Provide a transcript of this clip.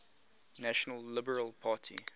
national liberal party